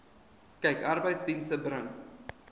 kyk arbeidsdienste bring